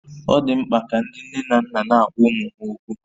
Ọ dị mkpa ka ndị nne na nna na-agwa ụmụ ha okwu